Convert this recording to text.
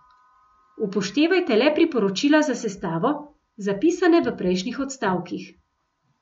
Upoštevajte le priporočila za sestavo, zapisane v prejšnjih odstavkih.